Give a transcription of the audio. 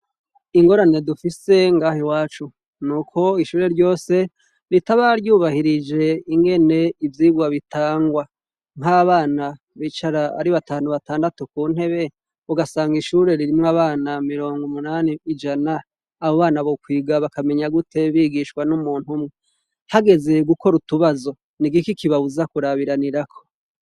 Ingorane dufise ngaha i wacu nuko ishure ryose ritaba ryubahirije ingene ivyigwa bitangwa nk'abana bicara ari batantu batandatu ku ntebe ugasanga ishure ririmwe abana mirongo umunani ijana abo bana bokwiga bakamenya gute bigishwa n'umuntu umwe agezeye gukora utubazo ni igiki kiba wuzakurabiranirako.